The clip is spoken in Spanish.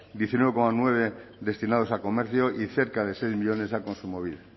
diecinueve coma nueve destinados a comercio y cerca de seis millónes a kontsumobide